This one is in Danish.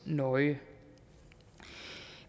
nøje